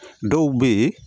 Dɔw bɛ yen